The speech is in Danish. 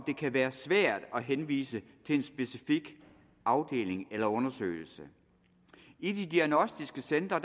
det kan være svært at henvise til en specifik afdeling eller undersøgelse i de diagnostiske centre